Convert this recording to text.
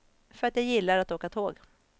För att jag gillar att åka tåg.